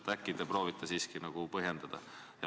Äkki sa proovid siiski põhjendada?